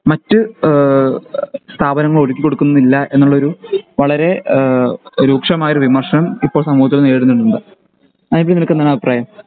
മറ്റ് ഈഹ് സ്ഥാപനങ്ങളൊ ഒരുക്കികൊടുകുന്നില്ല എന്നുള്ളൊരു വളരെ ഈഹ് രൂക്ഷമായ ഒരു വിമർശനം ഇപ്പൊ സമൂഹത്തിൽ നേരിടുന്നുണ്ടല്ലോ അതിൽ നിനെക്കെന്താണ് അഭിപ്രായം